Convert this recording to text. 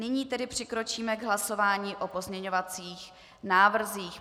Nyní tedy přikročíme k hlasování o pozměňovacích návrzích.